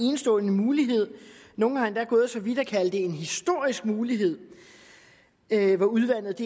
enestående mulighed nogle er endda gået så vidt at kalde det en historisk mulighed hvor udvandet